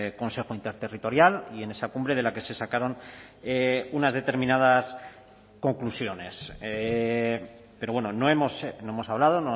consejo interterritorial y en esa cumbre de la que se sacaron unas determinadas conclusiones pero bueno no hemos hablado